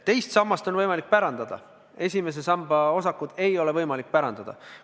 Teise samba raha on võimalik pärandada, esimese samba raha ei ole võimalik pärandada.